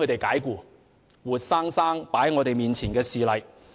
這是活生生擺在我們眼前的事例。